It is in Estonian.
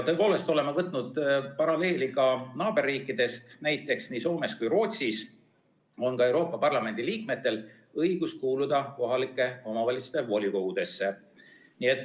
Tõepoolest, oleme võtnud eeskuju ka naaberriikidest, näiteks nii Soomes kui ka Rootsis on Euroopa Parlamendi liikmetel õigus kuuluda kohalike omavalitsuste volikogudesse.